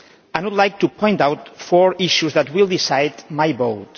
I would like to point out four issues that will decide my vote.